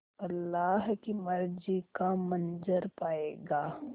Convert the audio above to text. अल्लाह की मर्ज़ी का मंज़र पायेगा